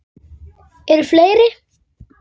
Eru fleiri?